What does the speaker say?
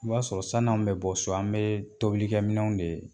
O b'a sɔrɔ sani an bɛ bɔ so an bɛ tobilikɛminɛnw de